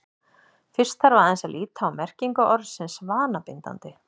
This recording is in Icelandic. fyrst þarf aðeins að líta á merkingu orðsins „vanabindandi“